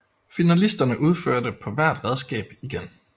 Finalisterne udførte på hvert redskab igen